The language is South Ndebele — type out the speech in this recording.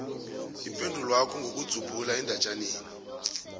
ipendulwakho ngokudzubhula endatjaneni